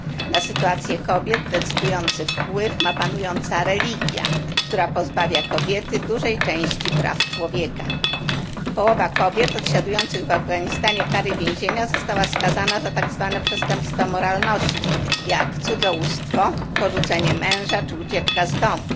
Na sytuację kobiet decydujący wpływ ma panująca religia, która pozbawia kobiety dużej części praw człowieka. Połowa kobiet odsiadujących w Afganistanie kary więzienia została skazana za tak zwane przestępstwa moralności, jak cudzołóstwo, porzucenie męża czy ucieczka z domu.